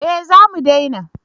Eh za mu dena